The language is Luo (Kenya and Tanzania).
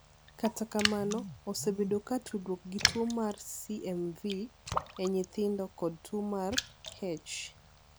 Kata kamano, osebedo ka tudruok gi tuo mar CMV (CMV) e nyithindo kod tuo mar H.